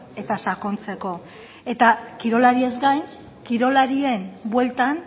eta sakontzeko eta kirolariez gain kirolarien bueltan